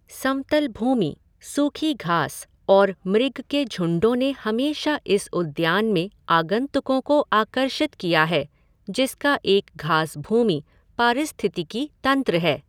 समतल भूमि, सूखी घास और मृग के झुंडों ने हमेशा इस उद्यान में आगंतुकों को आकर्षित किया है जिसका एक घासभूमि पारिस्थितिकी तंत्र है।